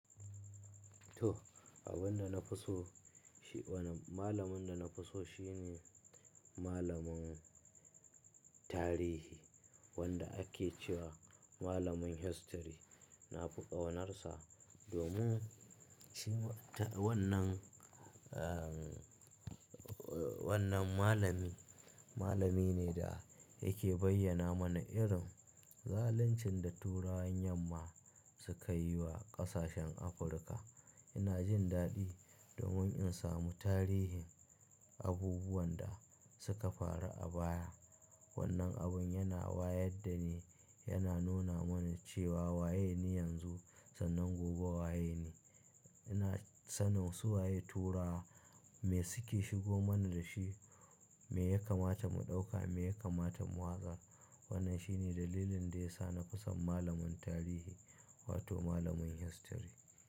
To, abin da na fi so shi, wani malamin da na fi so shi ne malamin tarihi wanda ake cewa malamin history. Na fi ƙaunarsa domin shi wannan, eh, wannan malami, malami ne da yake bayyana mana irin zaluncin da turawan yamma suka yi wa ƙasashen Afirka. Ina jin daɗi domin in samu tarihin abubuwan da suka faru a baya. Wannan abun yana wayar dani yana nuna mana cewa waye ni yanzu sannan gobe waye ni. Ina sanin su waye turawa me suke shigo mana da shi, me ya kamata mu ɗauka, me ya kamata mu watsar. Wannan shi ne dalilin da ya sa nafi son malamin tarihi wato malamin history.